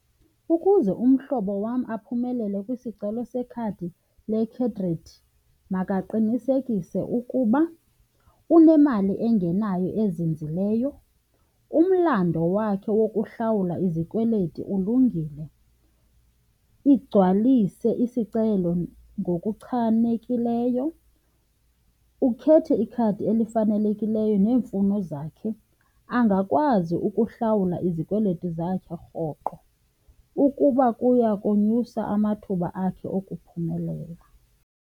Ukuze umhlobo wam aphumelele kwisicelo sekhadi lekhredithi makaqinisekise ukuba unemali engenayo ezinzileyo, umlamdo wakhe wokuhlawula izikweleti ulungile, igcwalise isicelo ngokuchanekileyo, ukhethe ikhadi elifanelekileyo neemfuno zakhe, angakwazi ukuhlawula izikweleti zakhe rhoqo ukuba kuya konyusa amathuba akhe okuphumelela.